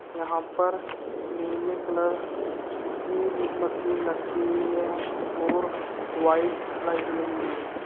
यहां पर नीले कलर की मशीन रखी हुई है और व्हाइट लाइट वाली भी है।